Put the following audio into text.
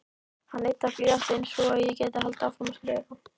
Hann yddar blýantinn svo ég geti haldið áfram að skrifa.